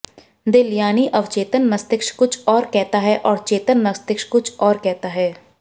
दिल यानी अवचेतन मस्तिष्क कुछ और कहता है और चेतन मस्तिष्क कुछ और कहता है